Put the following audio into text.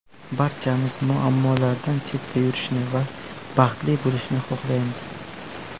Barchamiz muammolardan chetda yurishni va baxtli bo‘lishni xohlaymiz.